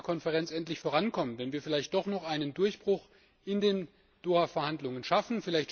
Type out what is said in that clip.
9. Ministerkonferenz endlich vorankommen, wenn wir vielleicht doch noch einen Durchbruch in den Doha Verhandlungen schaffen.